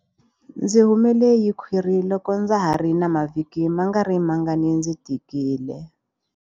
Ndzi humele hi khwiri loko ndza ha ri na mavhiki mangarimangani ndzi tikile.